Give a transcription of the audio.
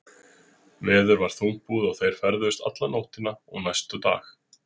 Veður var þungbúið og þeir ferðuðust alla nóttina og næsta dag.